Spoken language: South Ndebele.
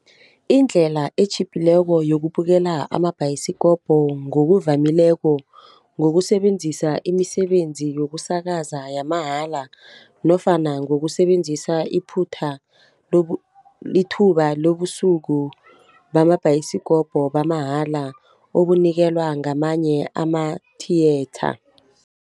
Indlela esitjhiphileko yokubukela amabhayisikopo ngokuvamileko, ngokusebenzisa imisebenzi yokusakaza yamahala nofana ngokusebenzisa ithuba lobusuku bamabhayisikopo bamahala obunikelwa ngamanye ama-theatre.